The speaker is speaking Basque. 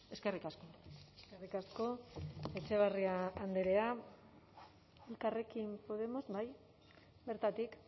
eskerrik asko eskerrik asko etxeberria andrea elkarrekin podemos bai bertatik